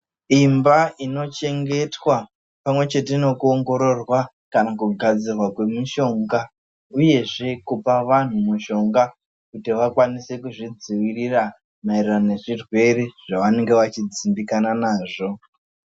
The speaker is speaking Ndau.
Imba inochengetwa pamwechete nokuongororwa kana kugadzirwa kwemishonga. Uyezve kupa vanhu mishonga kuti vakwanise kuzvidzivirira maererano nezvirwere zvavanenge vachidzimbikana nazvo.